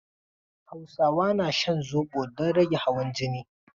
Hausawa na shan zobo don rage hawan jini.